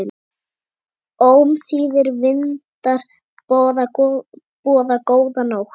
Ómþýðir vindar boða góða nótt.